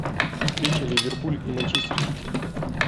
встреча ливерпуль и манчестер сити